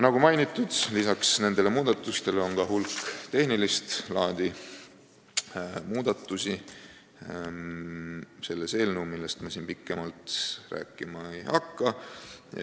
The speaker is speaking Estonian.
Nagu mainitud, lisaks nendele muudatustele on selles eelnõus hulk tehnilist laadi muudatusi, millest ma siin pikemalt rääkima ei hakka.